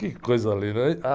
Que coisa linda. Aí, ah